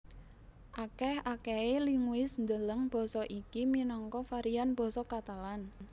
Akèh akèhé linguis ndeleng basa iki minangka varian basa Katalan